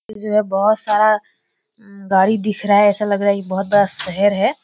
यह जो है बहुत सारा गाड़ी दिख रहा है ऐसा लग रहा है कि बहुत बड़ा शहर है।